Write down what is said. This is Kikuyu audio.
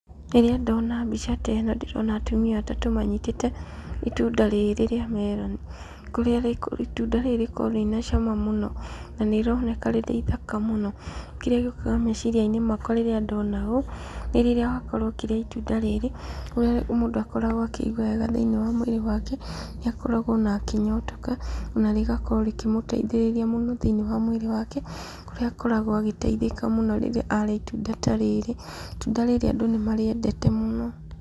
Rĩrĩa ndona mbica ta ĩno, ndĩrona atumia atatũ manyitĩte itunda rĩrĩ rĩa meroni, kũrĩa itunda rĩrĩ rĩkoragwo rĩna cama mũno na nĩ rĩroneka rĩ ithaka mũno, kĩrĩa gĩũkaga thĩiniĩ wa meciria makwa rĩrĩa ndona ũũ, nĩ rĩrĩa wakorwo ũkĩrĩa itunda ta rĩrĩ, mũndũ akoragwo akĩigua wega thĩiniĩ wa mwĩrĩ wake, nĩ akoragwo onake akĩnyotoka ona rĩgakorwo rĩkĩ mũteithĩrĩria mũno thĩiniĩ wa mwĩrĩ wake, kũrĩa akoragwo agĩteithika mũno rĩrĩa arĩa itunda ta rĩrĩ , itunda rĩrĩ andũ nĩmakoragwo marĩendete mũno.